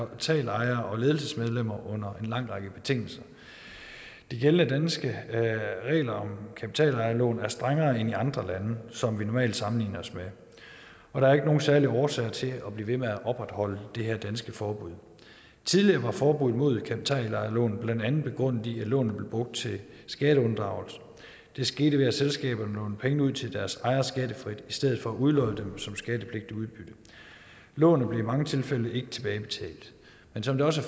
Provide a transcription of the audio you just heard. kapitalejere og ledelsesmedlemmer under en lang række betingelser de gældende danske regler om kapitalejerlån er strengere end i andre lande som vi normalt sammenligner os med og der er ikke nogen særlig årsag til at blive ved med at opretholde det her danske forbud tidligere var forbuddet mod kapitalejerlån blandt andet begrundet i at lånet blev brugt til skatteunddragelse det skete ved at selskaberne lånte penge ud til deres ejere skattefrit i stedet for at udlåne dem som skattepligtigt udbytte lånene blev i mange tilfælde ikke tilbagebetalt men som det også